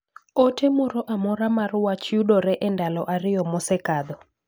ote moro amora mar wach yudore e ndalo ariyo mosekadho